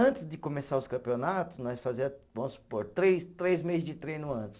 Antes de começar os campeonatos, nós fazia, vamos supor, três três meses de treino antes.